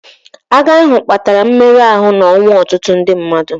Agha ahụ kpatara mmerụ ahụ na ọnwụ ọtụtụ ndị mmadụ.